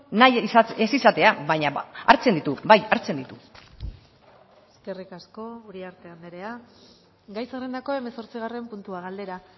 nahi ez izatea baina hartzen ditu bai hartzen ditu eskerrik asko uriarte andrea gai zerrendako hemezortzigarren puntua galdera